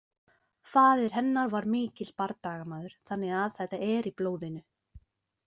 Faðir hennar var mikill bardagamaður þannig að þetta er í blóðinu.